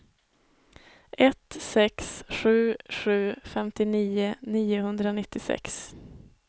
ett sex sju sju femtionio niohundranittiosex